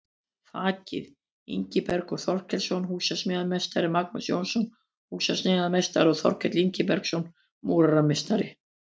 Þakið: Ingibergur Þorkelsson, húsasmíðameistari, Magnús Jónsson, húsasmíðameistari og Þorkell Ingibergsson, múrarameistari.